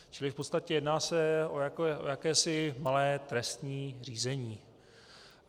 Čili v podstatě jedná se o jakési malé trestní řízení.